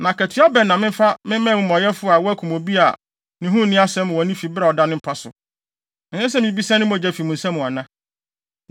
Na akatua bɛn na memfa mma amumɔyɛfo a wɔakum obi a ne ho nni asɛm wɔ ne fi bere a ɔda ne mpa so? Ɛnsɛ sɛ mibisa ne mogya fi mo nsam ana?”